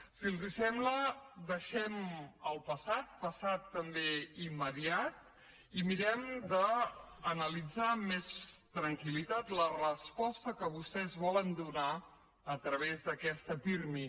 si els sembla deixem el passat passat també immediat i mirem d’analitzar amb més tranquil·litat la resposta que vostès volen donar a través d’aquesta pirmi